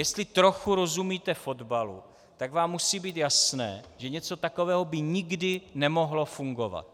Jestli trochu rozumíte fotbalu, tak vám musí být jasné, že něco takového by nikdy nemohlo fungovat.